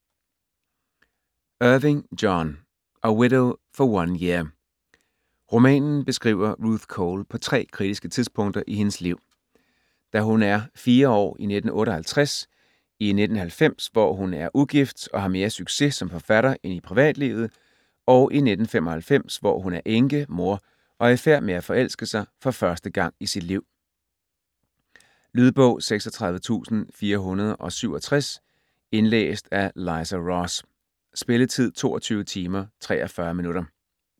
Irving, John: A widow for one year Romanen beskriver Ruth Cole på 3 kritiske tidspunkter i hendes liv: Da hun er 4 år i 1958, i 1990, hvor hun er ugift og har mere succes som forfatter end i privatlivet, og i 1995, hvor hun er enke, mor og i færd med at forelske sig for første gang i sit liv. Lydbog 36467 Indlæst af Liza Ross. Spilletid: 22 timer, 43 minutter.